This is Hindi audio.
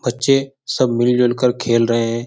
बच्चे सब मिल-जुल कर खेल रहे हैं।